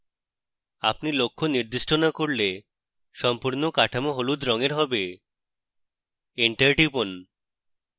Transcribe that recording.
আপনি লক্ষ্য নির্দিষ্ট না করলে সম্পূর্ণ কাঠামো হলুদ রঙের হবে entire টিপুন